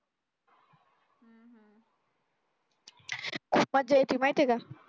मज्जा येती माहित्ये का